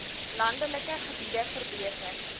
landelike gebiede verbeter